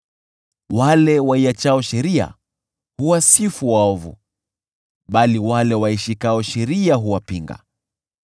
Wale waiachao sheria huwasifu waovu, bali wale waishikao sheria huwapinga.